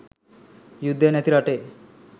යුද්ධය නැති රටේ